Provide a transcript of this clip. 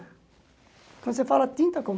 Quando você fala tinta como?